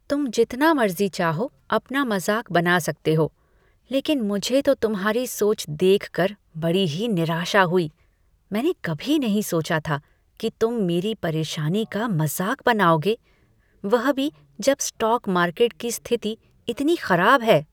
तुम जितना मर्ज़ी चाहो अपना मज़ाक बना सकते हो, लेकिन मुझे तो तुम्हारी सोच देखकर बड़ी ही निराशा हुई, मैंने कभी नहीं सोचा था कि तुम मेरी परेशानी का मज़ाक बनाओगे, वह भी जब स्टॉक मार्केट की स्थिति इतनी खराब है।